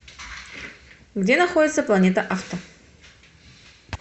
где находится планета авто